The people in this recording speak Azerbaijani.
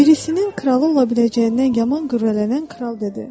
Birisinin kralı ola biləcəyindən yaman qürrələnən kral dedi: